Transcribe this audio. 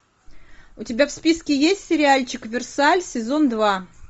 у тебя в списке есть сериальчик версаль сезон два